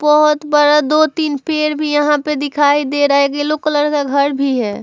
बहुत बड़ा दो तीन पेड़ भी यहाँ पर दिखाई दे रहा है। येलो कलर का घर भी है।